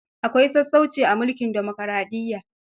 Akwai sassauci a mulkin dimokaraɗiyya.